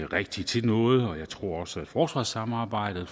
rigtig til noget og jeg tror også at forsvarssamarbejdet